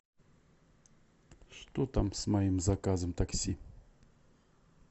что там с моим заказом такси